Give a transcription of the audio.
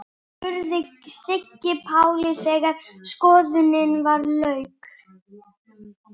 spurði Siggi Palli þegar skoðuninni lauk.